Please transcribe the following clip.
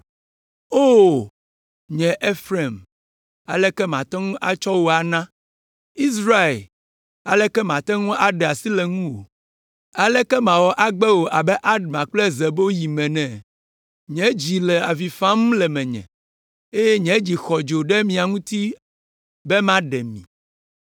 “O, nye Efraim, aleke mate ŋu atsɔ wò ana? Israel, aleke mate ŋu aɖe asi le ŋuwò? Aleke mawɔ agbe wò abe Adma kple Zeboyim ene? Nye dzi le avi fam le menye, eye nye dzi xɔ dzo ɖe mia ŋuti be maɖe mi!